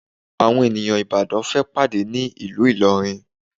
Àwọn ènìyàn Ìbàdàn fẹ́ pàdé ní ìlú Ìlọrin